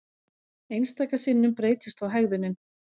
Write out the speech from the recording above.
Einstaka sinnum breytist þó hegðunin.